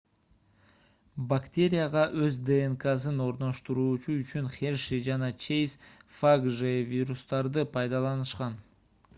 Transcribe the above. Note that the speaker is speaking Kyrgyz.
бактерияга өз днксын орноштуруу үчүн херши жана чейз фаг же вирустарды пайдаланышкан